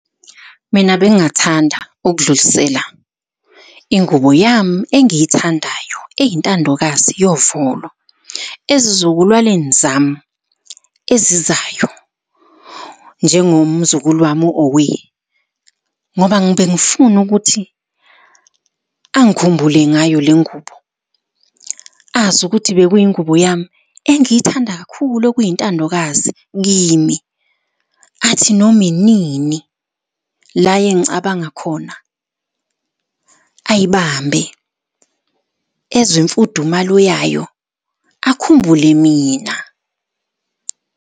Mina bengingathanda ukudlulisela ingubo yami engiyithandayo eyintandokazi yovolo ezizukulwaneni zami ezizayo njengomzukulu wami u-Owe, ngoba bengifuna ukuthi angikhumbule ngayo le ngubo, azi ukuthi bekuyingubo yami engiyithanda kakhulu okuyintandokazi kimi. Athi noma inini la engicabanga khona, ayibambe ezwe imfudumalo yayo akhumbule mina.